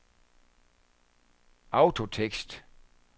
autotekst